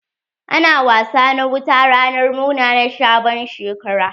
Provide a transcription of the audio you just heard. Ana wasa na wuta ranar murna na sabon shekara.